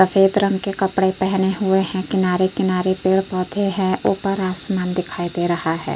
सफेद रंग के कपड़े पहने हुए हैं। किनारे-किनारे पेड़ पौधे हैं। ऊपर आसमान दिखाई दे रहा है।